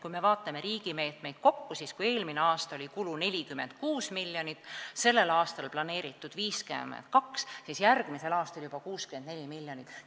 Kui me vaatame riigi meetmeid, siis näeme, et eelmine aasta oli kulu 46 miljonit, sellel aastal on planeeritud 52 ja järgmisel aastal juba 64 miljonit.